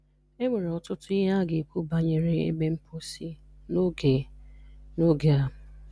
E nwere ọtụtụ ihe a ga-ekwu banyere ebe mposi n'oge n'oge a.